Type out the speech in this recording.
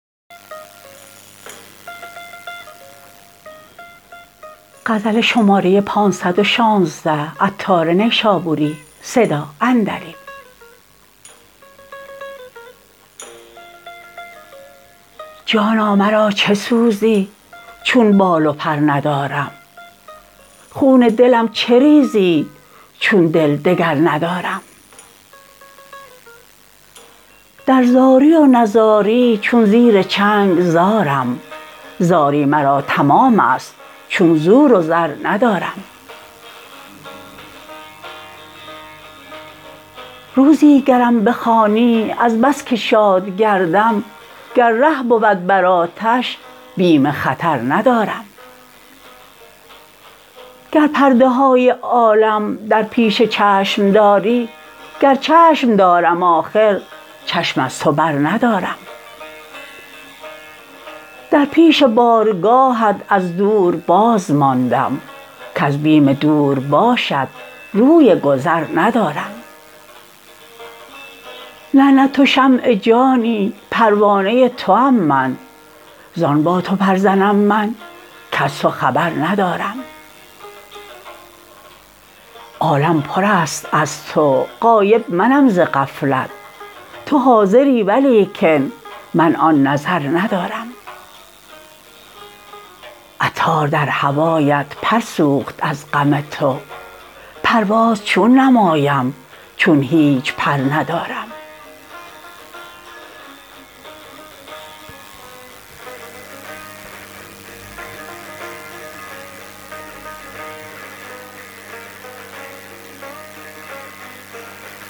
جانا مرا چه سوزی چون بال و پر ندارم خون دلم چه ریزی چون دل دگر ندارم در زاری و نزاری چون زیر چنگ زارم زاری مرا تمام است چون زور و زر ندارم روزی گرم بخوانی از بس که شاد گردم گر ره بود بر آتش بیم خطر ندارم گر پرده های عالم در پیش چشم داری گر چشم دارم آخر چشم از تو بر ندارم در پیش بارگاهت از دور بازماندم کز بیم دور باشت روی گذر ندارم نه نه تو شمع جانی پروانه توام من زان با تو پر زنم من کز تو خبر ندارم عالم پر است از تو غایب منم ز غفلت تو حاضری ولیکن من آن نظر ندارم عطار در هوایت پر سوخت از غم تو پرواز چون نمایم چون هیچ پر ندارم